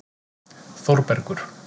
Þórbergur